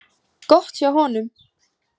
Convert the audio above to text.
Gott hjá honum.